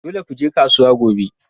Dole ku je kasuwa gobe!